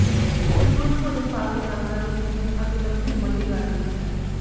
ਸੰਪੂਰਨ ਭੋਜਨ ਪਾਲਤੂ ਜਾਨਵਰਾਂ ਦੀ ਸਿਹਤ ਅਤੇ ਲੰਬੀ ਉਮਰ ਦੀ ਗਾਰੰਟੀ ਹੈ